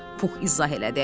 Pux izah elədi.